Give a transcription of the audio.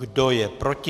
Kdo je proti?